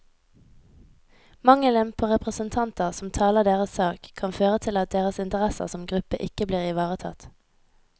Mangelen på representanter som taler deres sak, kan føre til at deres interesser som gruppe ikke blir ivaretatt.